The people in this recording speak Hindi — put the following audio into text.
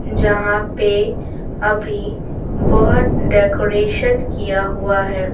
जहां पे अभी बहुत डेकोरेशन किया हुआ है।